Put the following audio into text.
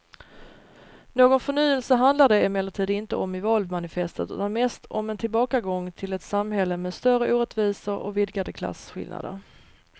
Någon förnyelse handlar det emellertid inte om i valmanifestet utan mest om en tillbakagång till ett samhälle med större orättvisor och vidgade klasskillnader.